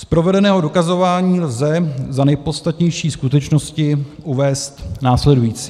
Z provedeného dokazování lze za nejpodstatnější skutečnosti uvést následující.